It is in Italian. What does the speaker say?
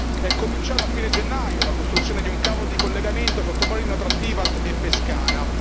È cominciata a fine gennaio la costruzione di un cavo di collegamento sottomarino tra Tivat e Pescara.